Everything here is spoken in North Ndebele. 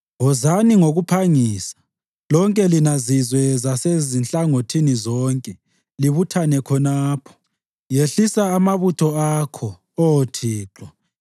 Wozani ngokuphangisa, lonke lina zizwe zasezinhlangothini zonke, libuthane khonapho. Yehlisa amabutho akho, Oh Thixo!